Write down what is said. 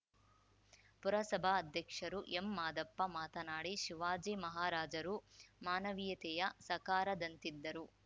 ಪುರಸಭಾಧ್ಯಕ್ಷರು M Madappa ಮಾತನಾಡಿ ಶಿವಾಜಿ ಮಹಾರಾಜರು ಮಾನವೀಯತೆಯ ಸಕಾರದಂತಿದ್ದರು